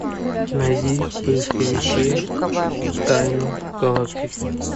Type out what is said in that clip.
найди в поисковике тайну галактики